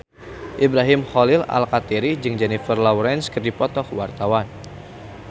Ibrahim Khalil Alkatiri jeung Jennifer Lawrence keur dipoto ku wartawan